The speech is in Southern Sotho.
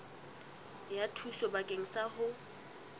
ya thuso bakeng sa ho